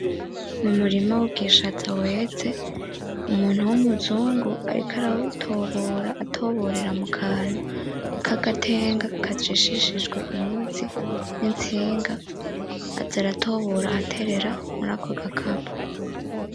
Umurima wubwishaza weze umuntu wumuzungu ariko arawutobora atoborera mukantu kagatenga kajishishijwe inyuzi nintsinga aza aratobora aratera murako gakapo .